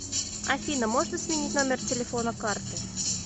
афина можно сменить номер телефона карты